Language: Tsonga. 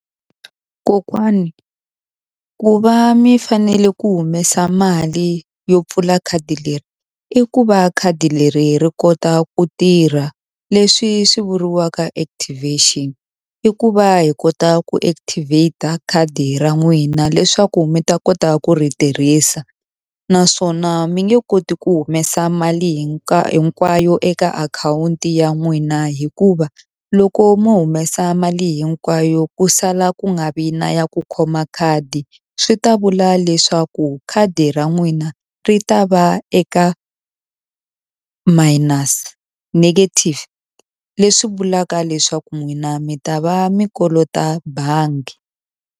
Kokwani ku va mi fanele ku humesa mali yo pfula khadi leri, i ku va khadi leri ri kota ku tirha. Leswi swi vuriwaka activation. I ku va hi kota ku activate-a khadi ra n'wina leswaku mi ta kota ku ri tirhisa. Naswona mi nge koti ku humesa mali hinkwayo eka akhawunti ya n'wina hikuva, loko mo humesa mali hinkwayo ku sala ku nga vi na ya ku khoma khadi, swi ta vula leswaku khadi ra n'wina ri ta va eka minus, negative. Leswi vulaka leswaku n'wina mi ta va mi kolota bangi.